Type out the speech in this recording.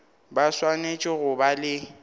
ba swanetše go ba le